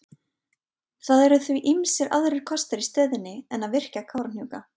Það eru því ýmsir aðrir kostir í stöðunni en að virkja við Kárahnjúka.